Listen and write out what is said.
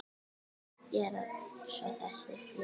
Hvað gera svo þessi félög?